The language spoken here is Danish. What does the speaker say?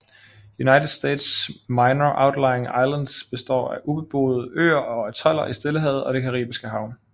United States Minor Outlying Islands består af ubeboede øer og atoller i Stillehavet og det Caribiske Hav